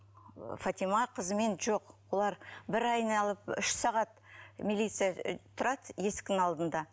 фатима қызымен жоқ олар бір айналып үш сағат милиция тұрады есіктің алдында